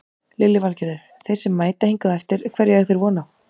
Lillý Valgerður: Þeir sem mæta hingað á eftir hverju eiga þeir von á?